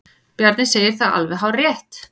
Bjarni segir það alveg hárrétt.